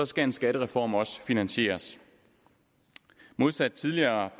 skal en skattereform også finansieres modsat tidligere